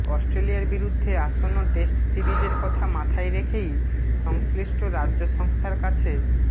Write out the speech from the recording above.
অস্ট্রেলিয়ার বিরুদ্ধে আসন্ন টেস্ট সিরিজের কথা মাথায় রেখেই সংশ্লিষ্ট রাজ্য সংস্থার কাছে